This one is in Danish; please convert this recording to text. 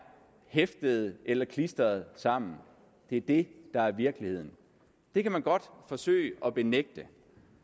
hæftet eller klistret sammen det er det der er virkeligheden det kan man godt forsøge at benægte